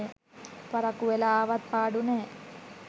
පරක්කු වෙලා ආවත් පාඩු නෑ.